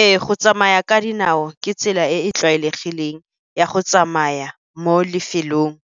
Ee. Go tsamaya ka dinao ke tsela e e tlwaelegileng ya go tsamaya mo lefelong